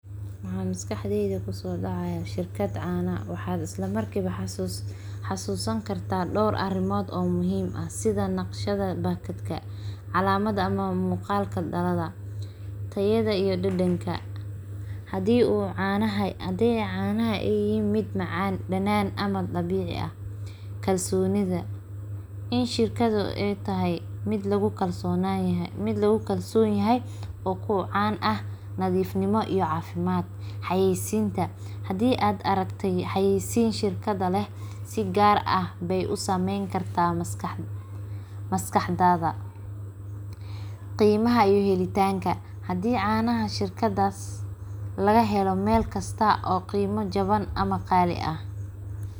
Waxaa maskaxdeyda kusoo dacaaya shirkad caana waxaa jira door arimod oo muhiim ah sida nashqada iyo macaanka canaha in shirkada aay tahay mid lagu kalsoonan yahay iyo diiri galin xayeeysinta iyo qiimaha iyo helitanka hadii laga helo meel qiimo jaban ama qaali ah.